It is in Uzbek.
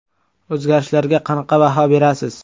O‘zgarishlarga qanaqa baho berasiz?